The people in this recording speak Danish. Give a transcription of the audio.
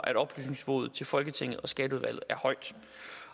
at oplysningsniveauet til folketinget og skatteudvalget er højt